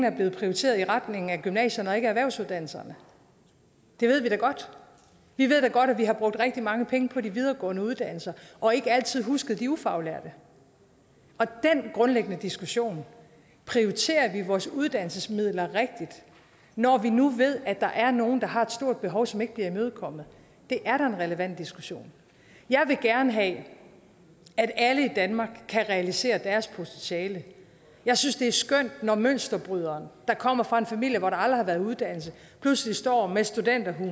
er blevet prioriteret i retning af gymnasierne og ikke erhvervsuddannelserne det ved vi da godt vi ved da godt at vi har brugt rigtig mange penge på de videregående uddannelser og ikke altid husket de ufaglærte den grundlæggende diskussion prioriterer vi vores uddannelsesmidler rigtigt når vi nu ved at der er nogle der har et stort behov som ikke bliver imødekommet er da en relevant diskussion jeg vil gerne have at alle i danmark kan realisere deres potentiale jeg synes det er skønt når mønsterbryderen der kommer fra en familie hvor der aldrig har været uddannelse pludselig står med studenterhue